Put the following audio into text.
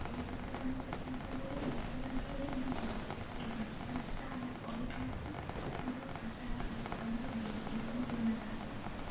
ସେଇ ଅନୁସାରେ ଆମେ ଦେଖିବାକୁ ଗଲେ insurance ରେ ବି ଆମେ ଦଉଛେ insurance ଟା ଆମେ କରିଥାଉ କି ଆମ ସାରା ଜୀବନର ଜୀବନ ବୀମା ଯାହାକୁ କହନ୍ତି